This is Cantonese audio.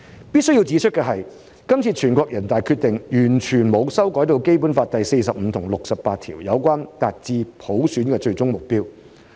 必須指出的是，這次全國人大的《決定》完全沒有修改《基本法》第四十五條及第六十八條有關達致普選的最終目標。